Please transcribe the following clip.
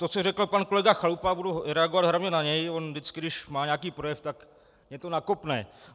To, co řekl pan kolega Chalupa, budu reagovat hlavně na něj, on vždycky, když má nějaký projev, tak mě to nakopne.